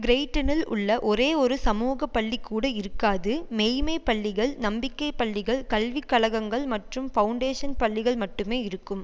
கிரோய்டனில் உள்ள ஒரேயொரு சமூக பள்ளி கூட இருக்காது மெய்ம்மை பள்ளிகள் நம்பிக்கை பள்ளிகள் கல்விக்கழகங்கள் மற்றும் பவுண்டேஷன் பள்ளிகள் மட்டுமே இருக்கும்